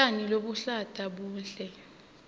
tjani lobuluhlata buhle